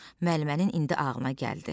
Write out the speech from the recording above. Müəllimənin indi ağılına gəldi.